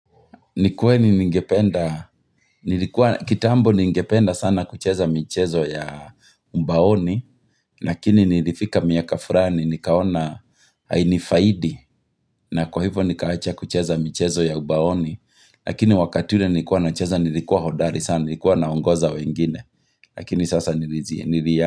Ni kweli ningependa, kitambo ningependa sana kucheza mchezo ya mbaoni, lakini nilifika miaka furani, nikaona hainifaidi, na kwa hivyo nikaacha kucheza mchezo ya mbaoni, lakini wakati ule nilikuwa nacheza nilikuwa hodari sana, nilikuwa naongoza wengine, lakini sasa nilijia.